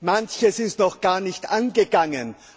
Manches ist noch gar nicht angegangen.